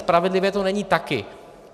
Spravedlivé to není taky.